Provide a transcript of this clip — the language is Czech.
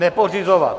Nepořizovat.